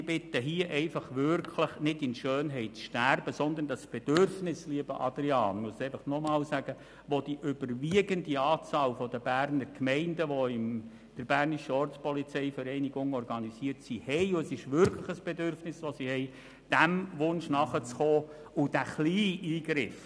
Ich bitte Sie nun einfach, nicht in Schönheit zu sterben, sondern dem Bedürfnis und Wunsch einer überwiegenden Anzahl Berner Gemeinden, die in der BVO organisiert sind, lieber Adrian Wüthrich, nachzukommen und diese Möglichkeit zuzulassen.